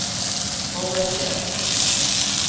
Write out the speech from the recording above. Follese